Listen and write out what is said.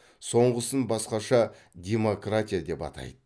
соңғысын басқаша демократия деп атайды